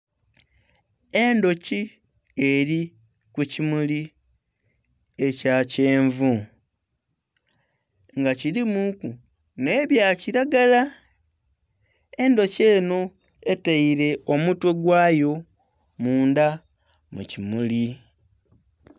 Endhuki eli kukimuli ekya kyenvu nga kilimu ku nhebya kilagala, endhuki enho eteile omutwe gwayo mundha mukimuli.